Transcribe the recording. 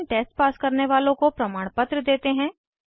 online test pass करने वालों को प्रमाणपत्र देते हैं